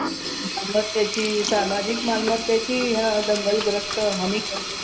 आणि मग त्याची सामाजिक मालमत्तेची हा दंगलग्रस्त हानी करतात